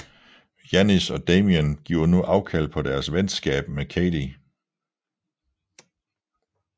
Janis og Damien giver nu afkald på deeres venskab med Cady